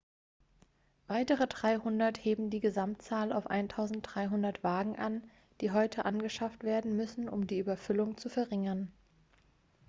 weitere 300 heben die gesamtzahl auf 1.300 wagen an die angeschafft werden müssen um die überfüllung zu verringern.x